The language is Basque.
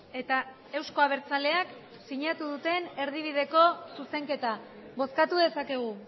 eta euzko abertzaleak sinatu duten erdibideko zuzenketa bozkatu dezakegu